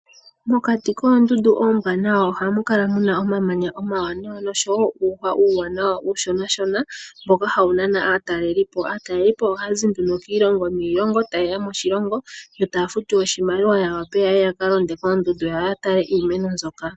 Mokati koondundu oombwanawa ohamu kala mu na omamanya omawanawa, oshowo uuhwa uuwanawa uushonashona, mboka hawu nana aatalelipo. Aatalelipo ohaya zi nduno kiilongo niilongo, taye ya moshilongo yo taya futu oshimaliwa ya wape ya ka londe koondundu, yo ya take iimeno mbyoka.